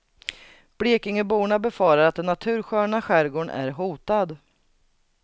Blekingeborna befarar att den natursköna skärgården är hotad.